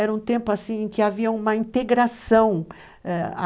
Era um tempo, assim, em que havia uma integração.